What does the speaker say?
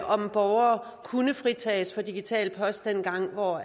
om borgere kunne fritages for digital post dengang hvor